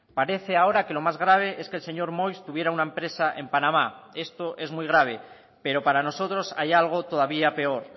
parece ahora que lo más grave es que el señor moix tuviera una empresa en panamá esto es muy grave pero para nosotros hay algo todavía peor